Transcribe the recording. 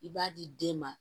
I b'a di den ma